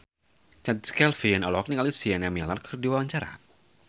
Chand Kelvin olohok ningali Sienna Miller keur diwawancara